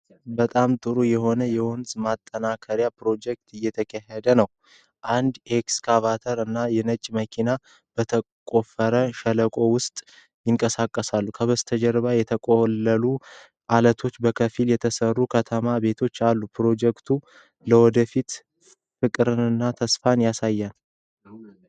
በጣም ጥሩ የሆነ የወንዝ ማጠናከሪያ ፕሮጀክት እየተካሄደ ነው። አንድ ኤክስካቫተር እና የጭነት መኪና በተቆፈረ ሸለቆ ውስጥ ይንቀሳቀሳሉ። ከበስተጀርባ የተቆለሉ ዐለቶችና በከፊል የተሠሩ ከተማ ቤቶች አሉ። ፕሮጀክቱ ለወደፊቱ ፍቅርንና ተስፋን ያሳያል።